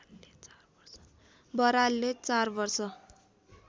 बरालले चार वर्ष